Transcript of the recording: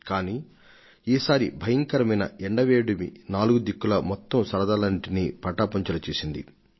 కానీ ఈ సంవత్సరం ఎండలు ఎక్కువై ఉక్కబోత అందరి వినోదాన్నీ నాశనం చేసింది